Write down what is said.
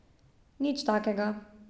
Nič takega.